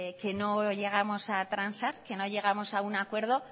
que no llegamos a transar que no llegamos a un acuerdo